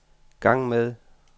gang med